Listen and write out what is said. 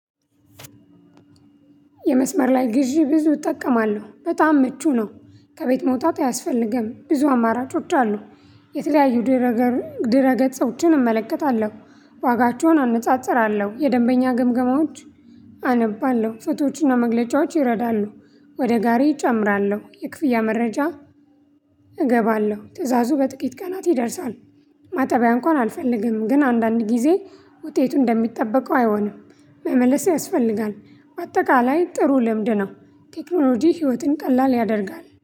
የመስመር ላይ ግዢ ብዙ እጠቀማለሁ በጣም ምቹ ነው። ከቤት መውጣት አያስፈልግም ብዙ አማራጮች አሉ። የተለያዩ ድረገር ድረገጾችን እመለከታለሁ ዋጋቸውን አነጻጽራለሁ የደንበኛ ግምገማዎች አነባለሁ ፍቶዎችና መግለጫዎች ይረዳሉ። ወደ ጋሪ እጨምራለሁ የክፍያ መረጃ። እገባለሁ ትእዛዙ በጥቂት ቀናት ይደርሳል። ማጠቢያ እንኳን አልፈልግም ግን አንዳንድ ጊዜ ውጤቱ እንደሚጠበቀው አይሆንም። መመለስ ያስፈልጋል። በአጠቃላይ ጥሩ ልምድ ነው። ቴክኖሎጂ ህይወትን ቀላል ያደርጋል